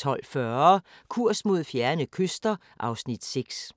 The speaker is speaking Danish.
12:40: Kurs mod fjerne kyster (Afs. 6)